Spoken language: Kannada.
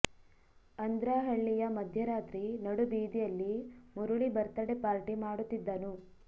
ಅಂದ್ರಹಳ್ಳಿಯ ಮಧ್ಯರಾತ್ರಿ ನಡು ಬೀದಿಯಲ್ಲಿ ಮುರಳಿ ಬರ್ತ್ ಡೇ ಪಾರ್ಟಿ ಮಾಡುತ್ತಿದ್ದನು